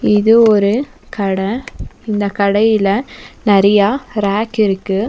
இது ஒரு கட இந்த கடையில நெறயா ரேக் இருக்கு.